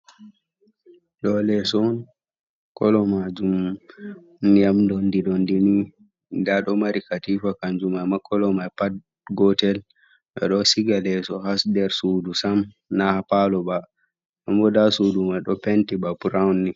Ɗo leso on, kolo majum ndiyam dondi dondi ni, nda do mari katifa kanjumai ma kolo mai pat gotel ɓeɗo siga leso ha nder sudu sam, na ha palo ba kuma nda sudu mai ɗo penti bana burawun ni.